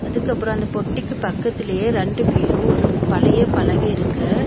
அதுக்கப்ரோ அந்த பொட்டிக்கு பக்கத்துலயே ரெண்டு பீரோ ஒரு பழைய பழக இருக்கு.